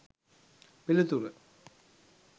පිළිතුර